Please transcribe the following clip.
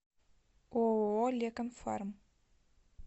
ооо лекон фарм